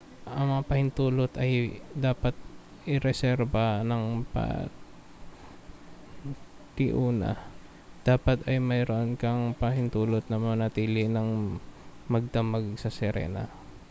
ang mga pahintulot ay dapat ireserba nang patiuna dapat ay mayroon kang pahintulot na manatili nang magdamag sa sirena